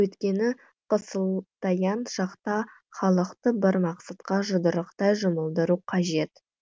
өйткені қысылтаяң шақта халықты бір мақсатқа жұдырықтай жұмылдыру қажет